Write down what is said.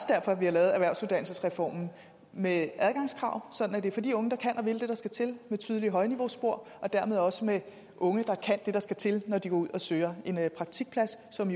derfor vi har lavet erhvervsuddannelsesreformen med adgangskrav sådan at det er for de unge der kan og vil det der skal til med et tydeligt højniveauspor og dermed også med de unge der kan det der skal til når de går ud og søger en praktikplads som